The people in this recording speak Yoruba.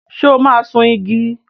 So máa sun igi?